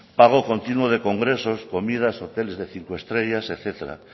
pago continuo de congresos comidas hoteles de cinco estrellas etcétera